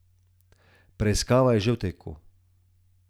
Preiskava je že v teku.